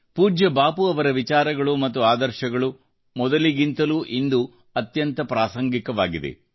ಪೂಜ್ಯ ಬಾಪು ಅವರ ವಿಚಾರ ಮತ್ತು ಆದರ್ಶಗಳು ಮೊದಲಿಗಿಂತಲೂ ಇಂದು ಅತ್ಯಂತ ಪ್ರಸ್ತುತವಾಗಿದೆ